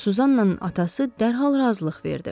Suzannanın atası dərhal razılıq verdi.